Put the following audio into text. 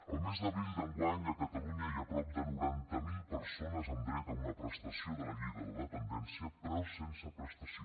el mes d’abril d’enguany a catalunya hi ha prop de noranta miler persones amb dret a una prestació de la llei de la dependència però sense prestació